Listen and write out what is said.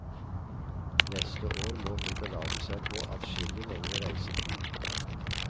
Neste år må hun belage seg på adskillig lengre reisetid.